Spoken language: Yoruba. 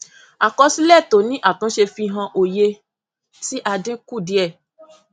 àkọsílẹ tó ní àtúnṣe fi hàn oye tí a dín kù díẹ